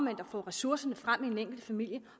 at få ressourcerne frem i den enkelte familie